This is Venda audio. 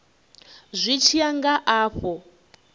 zwi tshi ya nga afho